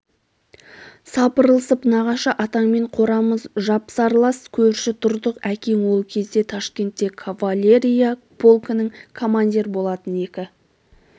сапырылысып нағашы атаңмен қорамыз жапсарлас көрші тұрдық әкең ол кезде ташкентте ковалерия полкінің командир болатын екі